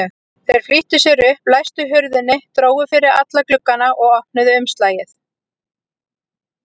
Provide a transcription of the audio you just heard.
Þeir flýttu sér upp, læstu hurðinni, drógu fyrir alla glugga og opnuðu umslagið.